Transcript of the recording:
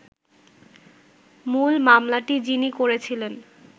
মূল মামলাটি যিনি করেছিলেন